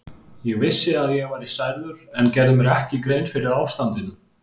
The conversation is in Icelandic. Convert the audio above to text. Ég vissi að ég var særður en gerði mér ekki grein fyrir ástandinu.